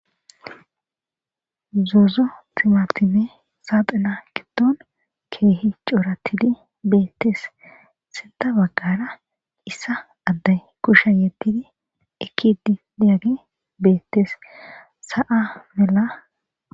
Zozo timatimey saxina gidon kwwh cortid betes. Sintha bagara issi adey kushe yedid ekid diyagey betes.